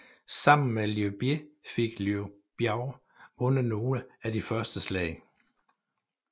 Sammen med Liu Bei fik Liu Biao vundet nogle af de første slag